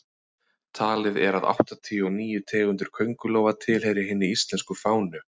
talið er að áttatíu og níu tegundir köngulóa tilheyri hinni íslensku fánu